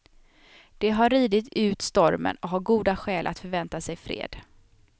De har ridit ut stormen och har goda skäl att förvänta sig fred.